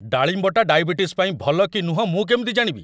ଡାଳିମ୍ବଟା diabetes ପାଇଁ ଭଲ କି ନୁହଁ ମୁଁ କେମିତି ଜାଣିବି?